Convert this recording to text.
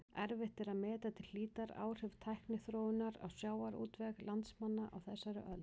Erfitt er að meta til hlítar áhrif tækniþróunar á sjávarútveg landsmanna á þessari öld.